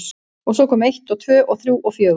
Og svo kom eitt og tvö og þrjú og fjögur.